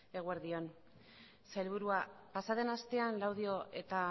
eguerdi on sailburua pasa den astean laudio eta